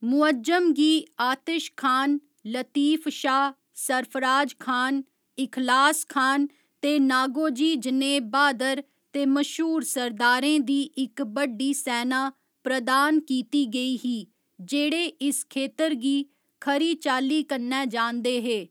मुअज्जम गी आतिशखान, लतीफशाह, सरफराजखान, इखलासखान ते नागोजी जनेह् ब्हादर ते मश्हूर सरदारें दी इक बड्डी सैना प्रदान कीती गेई ही जेह्ड़े इस खेतर गी खरी चाल्ली कन्नै जानदे हे।